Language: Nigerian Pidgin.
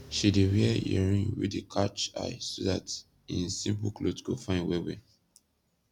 she dey wear earring wey dey katsh eye so dat en simpol kloth go fine wellwell